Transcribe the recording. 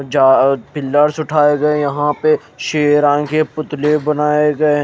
जा पिलर्स उठाये गये है यहा पे शेरा के पुतले बनाये गये--